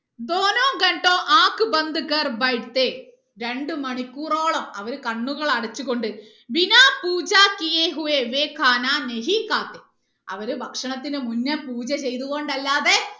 രണ്ട് മണിക്കൂറോളം അവർ കണ്ണുകൾ അടച്ച് കൊണ്ട് അവര് ഭക്ഷണത്തിന് മുന്നെ പൂജ ചെയ്ത് കൊണ്ട് അല്ലാതെ